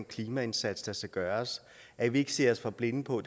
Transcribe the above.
klimaindsats der skal gøres at vi ikke stirrer os for blinde på